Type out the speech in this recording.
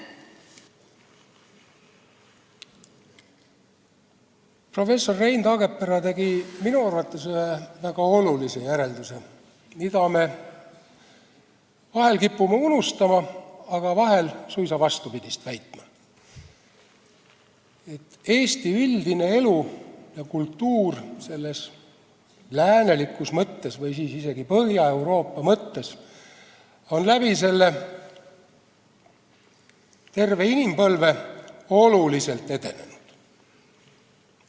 Professor Rein Taagepera tegi minu arvates ühe väga olulise järelduse, mida me vahel kipume unustama, aga vahel oleme suisa vastupidist väitnud: Eesti elu üldiselt ja kultuur läänelikus või isegi Põhja-Euroopa mõttes on terve selle inimpõlve jooksul oluliselt edenenud.